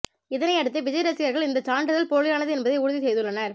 இதனை அடுத்து விஜய் ரசிகர்கள் இந்த சான்றிதழ் போலியானது என்பதை உறுதி செய்துள்ளனர்